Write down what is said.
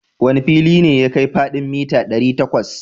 Wane fili ne ya kai faɗin mita ɗari takwas?